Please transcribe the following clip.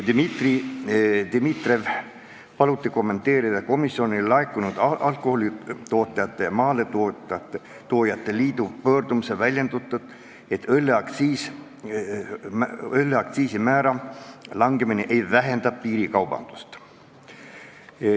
Dmitri Dmitrijev palus kommenteerida komisjonile laekunud Alkoholitootjate ja Maaletoojate Liidu pöördumises väljendatut, et õlle aktsiisimäära langetamine ei vähenda piirikaubandust.